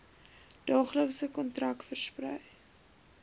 daaglikse kontak versprei